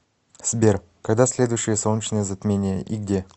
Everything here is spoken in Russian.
сбер когда следующее солнечное затмение и где